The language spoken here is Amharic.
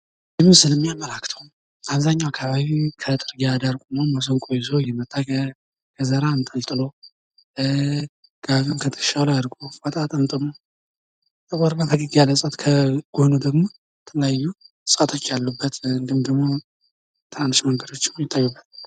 ይህ ምስል የሚያመላክተው አብዘሃኛዉ አከባቢ ከጥርጊያ ዳር ቆሞ መሰንቆ እዞ እየመጣ፣ ከዘራ አንጠልጥሎ፣ ጋቢዉን ከትከሻዉ ላይ አድርጎ፣ ፎጣ ጠምጥሞ፣ ጥቁር እና ፈገግ ያለ ሰው፣ ከጎኖ ደሞ የተለያዩ እጽዋቶች ያሉበት እንዲሁም ደሞ በጣም መንገዶች የሚታዩበት።